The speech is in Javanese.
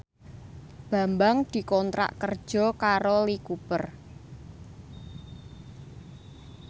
Bambang dikontrak kerja karo Lee Cooper